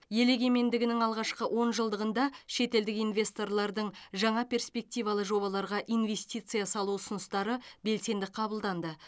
ел егемендігінің алғашқы онжылдығында шетелдік инвесторлардың жаңа перспективалы жобаларға инвестиция салу ұсыныстары белсенді қабылданды